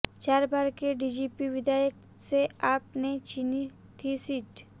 चार बार के बीजेपी विधायक से आप ने छीनी थी सीट